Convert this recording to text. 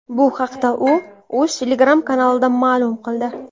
Bu haqda u o‘z Telegram-kanalida ma’lum qildi .